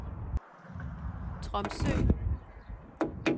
Tromsø